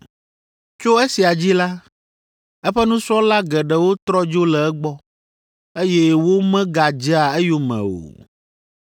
Tso esia dzi la, eƒe nusrɔ̃la geɖewo trɔ dzo le egbɔ, eye womegadzea eyome o.